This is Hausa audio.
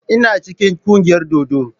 Ina cikin kungiyar dodo.